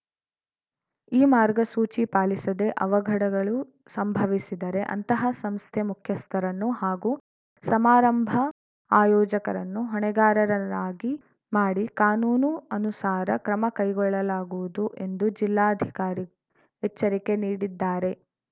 ಈ ಮಾರ್ಗಸೂಚಿ ಪಾಲಿಸದೆ ಅವಘಡಗಳು ಸಂಭವಿಸಿದರೆ ಅಂತಹ ಸಂಸ್ಥೆ ಮುಖ್ಯಸ್ಥರನ್ನು ಹಾಗೂ ಸಮಾರಂಭ ಆಯೋಜಕರನ್ನು ಹೊಣೆಗಾರರನ್ನಾಗಿ ಮಾಡಿ ಕಾನೂನು ಅನುಸಾರ ಕ್ರಮ ಕೈಗೊಳ್ಳಲಾಗುವುದು ಎಂದು ಜಿಲ್ಲಾಧಿಕಾರಿ ಎಚ್ಚರಿಕೆ ನೀಡಿದ್ದಾರೆ